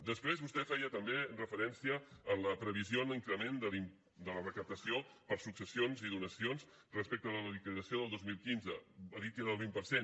després vostè feia també referència a la previsió en l’increment de la recaptació per successions i donacions respecte de la liquidació del dos mil quinze ha dit que era del vint per cent